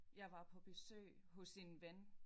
Jeg var på besøg hos en ven